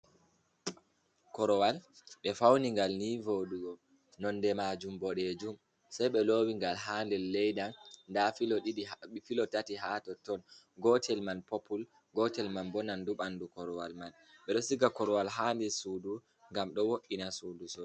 Korowal ɓe faunigal ni voɗugo nonde majum boɗejum sei ɓe lowi gal ha nder leda nda filo tati ha totton gotel man popul, gotel man bo nan du bandu korowal man ɓeɗo siga korowal hander sudu gam do wo’’ina sudu so.